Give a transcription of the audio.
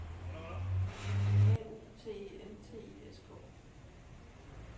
A U T E N T I S K